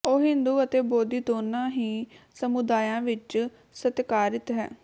ਉਹ ਹਿੰਦੂ ਅਤੇ ਬੋਧੀ ਦੋਨਾਂ ਹੀ ਸਮੁਦਾਇਆਂ ਵਿੱਚ ਸਤਿਕਾਰਿਤ ਹੈ